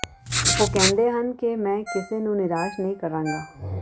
ਉਹ ਕਹਿੰਦੇ ਹਨ ਕਿ ਮੈਂ ਕਿਸੇ ਨੂੰ ਨਿਰਾਸ਼ ਨਹੀਂ ਕਰਾਂਗਾ